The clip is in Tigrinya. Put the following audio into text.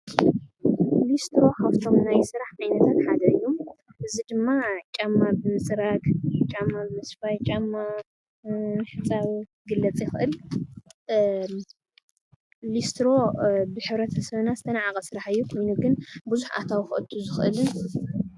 ሊስትሮ ካብቶም ናይ ስራሕ ዓይነታት ሓደ እዩ። እዚ ድማ ጫማ ብምፅራግ ጫማ ብምስፋይ ጫማ ብምሕፃብ ይግለፅ ይክእል ሊስትሮ ብሕብረተሰብና ዝተናዓቀ ስራሕ እዩ። ኮይኑ ግን ብዙሕ ኣታዊ ከእቱ ዝኽእልን።